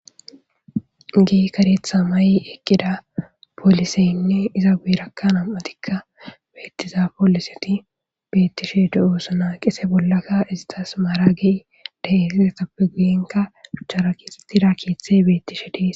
Kehi karetha mayi eqqida polissenne izzaperakka namma'thikka bethiza polisethi bethishe deo'ssonna. Gede bollakka isthas maraqi de'zzaytha izzappe guyenkka shuchara kexethidi kethe bethishe de'ss.